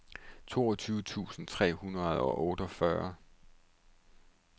toogtyve tusind tre hundrede og otteogfyrre